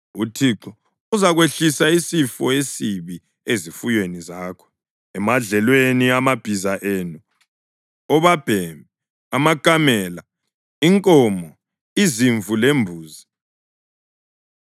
uThixo uzakwehlisela isifo esibi ezifuyweni zakho emadlelweni, amabhiza enu, obabhemi, amakamela, inkomo, izimvu lembuzi.